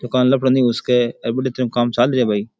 दुकान घुस के अभी काम चालू है भाई।